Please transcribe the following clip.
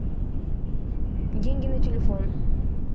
деньги на телефон